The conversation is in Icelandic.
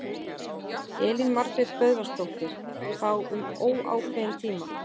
Elín Margrét Böðvarsdóttir: Þá um óákveðinn tíma?